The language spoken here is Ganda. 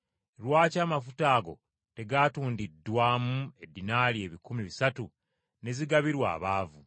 “Lwaki amafuta ago tegatundiddwamu eddinaali ebikumi bisatu ne zigabirwa abaavu?”